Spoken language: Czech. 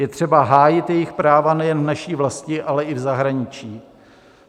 Je třeba hájit jejich práva nejen v naší vlasti, ale i v zahraničí.